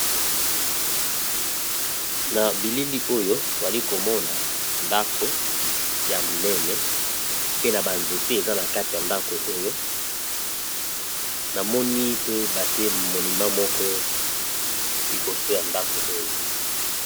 na bilili oyo toali komona ndako ya monene pe na banzete eza na kati ya ndako oyo namoni pe batie monima moko liboso ya ndako oyo